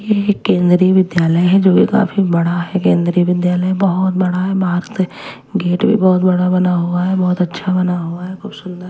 ये एक केंद्रीय विद्यालय है जो की काफी बड़ा है केंद्रीय विद्यालय बहोत बड़ा है बाहरत गेट भी बहोत बड़ा बना हुआ है बहोत अच्छा बना हुआ है खूब सुंदर--